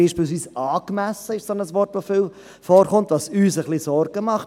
So ist beispielsweise «angemessen» ein Wort, das viel vorkommt, was uns etwas Sorgen bereitet.